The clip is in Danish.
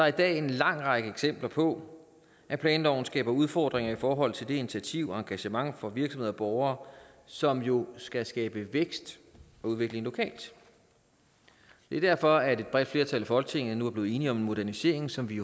i dag en lang række eksempler på at planloven skaber udfordringer i forhold til det initiativ og engagement fra virksomheder og borgere som jo skal skabe vækst og udvikling lokalt det er derfor at et bredt flertal i folketinget nu er blevet enige om en modernisering som vi